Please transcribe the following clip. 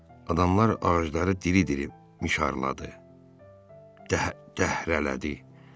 Adamlar ağacları diri-diri mişarladı, dəhrələdi.